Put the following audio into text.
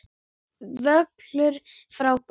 Völlur frábær.